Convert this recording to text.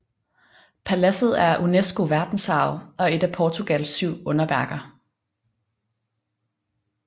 Paladset er UNESCO verdensarv og et af Portugals syv underværker